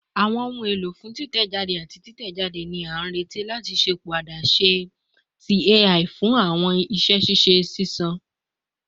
Awọn ohun elo fun titẹjade ati titẹjade ni a nireti lati ṣepọ adaṣe adaṣe ti AI fun awọn iṣẹ ṣiṣe ṣiṣan